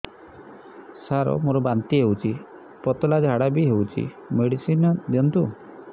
ସାର ମୋର ବାନ୍ତି ହଉଚି ପତଲା ଝାଡା ବି ହଉଚି ମେଡିସିନ ଦିଅନ୍ତୁ